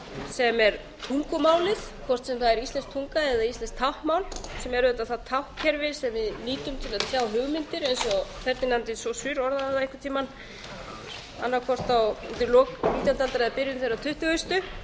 sem er tungumálið hvort sem það er íslensk tunga eða íslenskt táknmál sem er auðvitað það táknkerfi sem við nýtum til að tjá hugmyndir eins og ferdinand saussure orðaði það einhvern tímann annaðhvort undir lok nítjándu aldar eða í byrjun þeirrar tuttugu